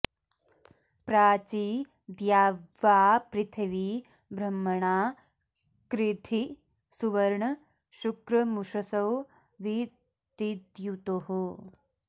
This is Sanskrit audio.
प्राची॒ द्यावा॑पृथि॒वी ब्रह्म॑णा कृधि॒ सुव॒र्ण शु॒क्रमु॒षसो॒ वि दि॑द्युतुः